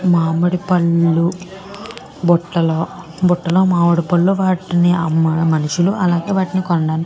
మామిడి పండ్లు బుటలో బుటలో మామిడి పండ్లు మనుషులు అలానే వాటిని కొనడానికి--